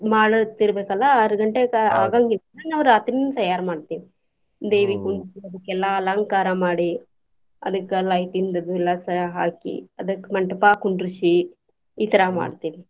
ಮಾಡೊವತ್ತ್ ಇರ್ಬೆಕಲ್ಲಾ ಆರ್ ಗಂಟೆಕ ಆಗಾಂಗಿಲ್ಲ ನಾವ್ ರಾತ್ರಿನ ತಯಾರ್ ಮಾಡ್ತೇವಿ ದೇವಿ ಕುಂದರ್ಸಿ ಅದಕ್ಕ ಎಲ್ಲಾ ಅಲಂಕಾರ ಮಾಡಿ ಅದಕ್ಕ lighting ಅದು ಎಲ್ಲಾಸ ಹಾಕಿ ಅದಕ್ ಮಂಟ್ಪ ಕುಂಡರ್ಸಿ ಈ ತರಾ ಮಾಡ್ತೇವಿ.